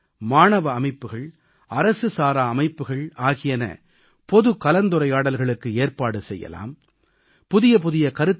இளைஞர் அமைப்புகள் மாணவ அமைப்புகள் அரசு சாரா அமைப்புகள் ஆகியன பொது கலந்துரையாடல்களுக்கு ஏற்பாடு செய்யலாம்